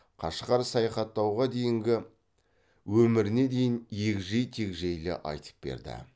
қашқар саяхаттауға дейінгі өміріне дейін егжей тегжейлі айтып берді